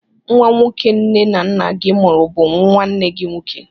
Nwa nwoke nne na nna gị mụrụ bụ nwanne gị nwoke.